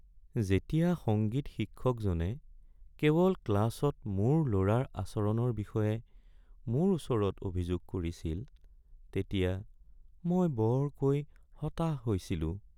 যেতিয়া সংগীত শিক্ষকজনে কেৱল ক্লাছত মোৰ ল'ৰাৰ আচৰণৰ বিষয়ে মোৰ ওচৰত অভিযোগ কৰিছিল তেতিয়া মই বৰকৈ হতাশ হৈছিলোঁ।